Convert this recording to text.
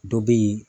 Dɔ bɛ yen